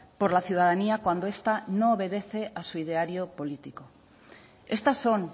por la ciudadanía cuando esta no obedece a su ideario político estas son